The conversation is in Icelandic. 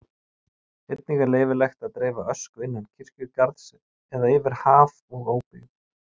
Einnig er leyfilegt að dreifa ösku innan kirkjugarðs eða yfir haf og óbyggðir.